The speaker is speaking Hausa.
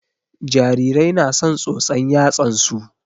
Jarirai na son tsotsan yatsan su